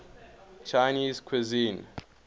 chinese cuisine